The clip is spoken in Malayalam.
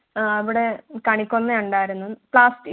അവിടെ കണിക്കൊന്ന ഉണ്ടായിരുന്നു പ്ലാസ്റ്റി~